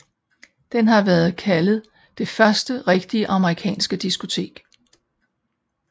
Den har været kaldet det første rigtige amerikanske diskotek